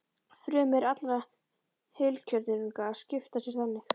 Frumur allra heilkjörnunga skipta sér þannig.